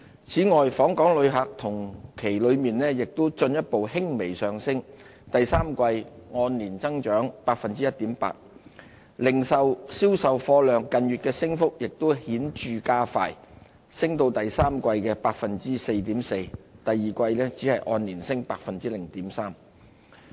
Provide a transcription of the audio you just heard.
此外，訪港旅客同期進一步輕微上升，第三季按年增長 1.8%， 零售銷售貨量近月的升幅亦顯著加快，第三季按年升 4.4%； 第二季按年升 0.3%。